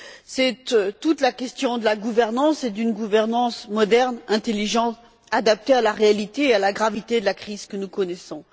C'est toute la question de la gouvernance et d'une gouvernance moderne, intelligente, adaptée à la réalité et à la gravité de la crise que nous connaissons.